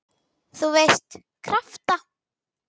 þú veist- krafta.